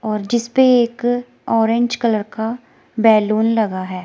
और जिस पे एक ऑरेंज कलर का बैलून लगा है।